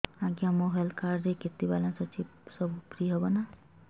ଆଜ୍ଞା ମୋ health card ରେ କେତେ ବାଲାନ୍ସ ଅଛି ସବୁ ଫ୍ରି ହବ ନାଁ